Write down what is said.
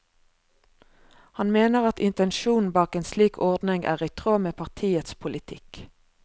Han mener at intensjonen bak en slik ordning er i tråd med partiets politikk.